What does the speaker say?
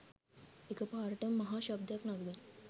එක පාරටම මහා ශබ්දයක් නගමින්